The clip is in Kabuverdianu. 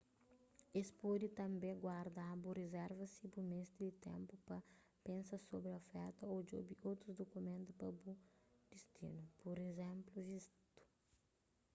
es pode tanbê guarda-bu rizerva si bu meste di ténpu pa pensa sobri oferta ô djobe otus dukumentu pa bu distinu pur izénplu vistu